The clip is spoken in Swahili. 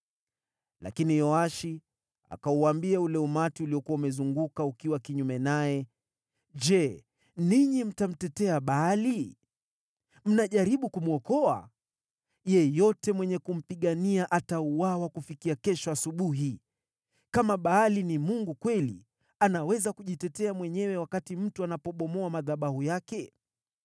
Lakini Yoashi akauambia ule umati uliokuwa umezunguka ukiwa kinyume naye, “Je, ninyi mtamtetea Baali? Mnajaribu kumwokoa? Yeyote mwenye kumpigania atauawa kufikia kesho asubuhi! Kama Baali ni mungu kweli, anaweza kujitetea mwenyewe wakati mtu anapobomoa madhabahu yake.”